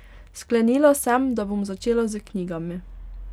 Sklenila sem, da bom začela s knjigami.